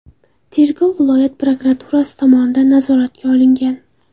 Tergov viloyat prokuraturasi tomonidan nazoratga olingan.